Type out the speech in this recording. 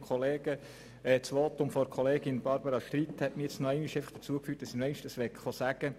Das Votum von Kollegin Streit hat mich noch ans Rednerpult gerufen.